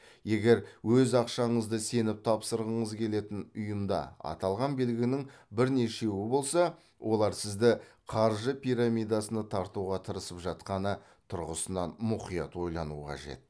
егер өз ақшаңызды сеніп тапсырғыңыз келетін ұйымда аталған белгінің бірнешеуі болса олар сізді қаржы пирамидасына тартуға тырысып жатқаны тұрғысынан мұқият ойлану қажет